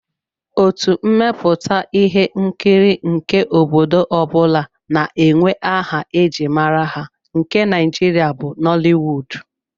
Otu mmepụta ihe nkiri nke obodo ọ bụla na-enwe aha e ji mara ha, nke Nigeria bụ Nollywood